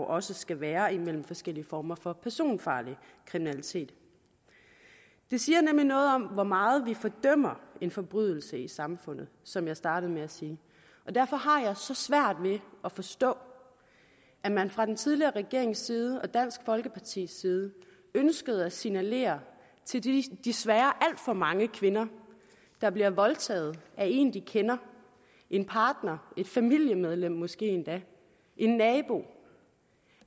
også skal være imellem forskellige former for personfarlig kriminalitet det siger nemlig noget om hvor meget vi fordømmer en forbrydelse i samfundet som jeg startede med at sige og derfor har jeg så svært ved at forstå at man fra den tidligere regerings side og fra dansk folkepartis side ønskede at signalere til de desværre alt for mange kvinder der bliver voldtaget af en de kender en partner et familiemedlem måske endda en nabo